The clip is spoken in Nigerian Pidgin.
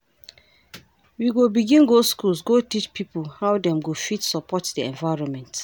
We go begin go skools go teach pipo how dem go fit support di environment.